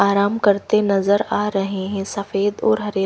आराम करते नजर आ रहे हैं सफेद और हरे--